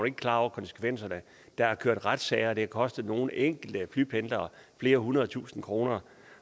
ikke klar over konsekvenserne der har kørt retssager og det har kostet nogle enkelte flypendlere flere hundrede tusind kroner